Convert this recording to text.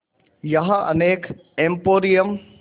यहाँ अनेक एंपोरियम